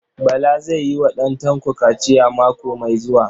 Bala zai yi wa ɗan Tanko kaciya mako mai zuwa.